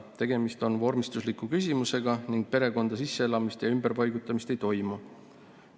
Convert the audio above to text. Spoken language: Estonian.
Tegemist on vormistusliku küsimusega ning perekonda sisseelamist ja ümberpaigutamist ei toimu.